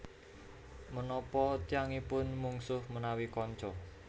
Menapa tiyangipun mungsuh menawi kanca